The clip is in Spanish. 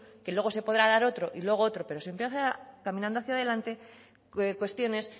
que luego se podrá dar otro y luego otro pero siempre caminando hacia adelante cuestiones